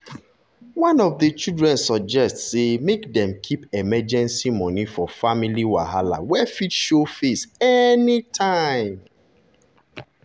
one of the chlidren suggest say make dem keep emergency money for family wahala wey fit show face anytime.